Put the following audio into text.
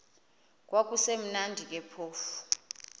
kwakusekumnandi ke phofu